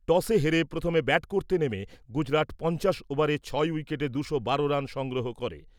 টসে হেরে প্রথম ব্যাট করতে নেমে গুজরাট পঞ্চাশ ওভারে ছয় উইকেটে দুশো একশো রান সংগ্রহ করে।